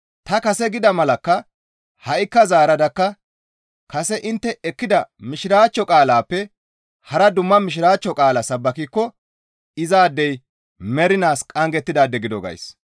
Ta kase gida malakka ha7ikka zaaradakka kase intte ekkida Mishiraachcho qaalaappe hara dumma Mishiraachcho qaalaa sabbakikko izaadey mernaas qanggettidaade gido gays.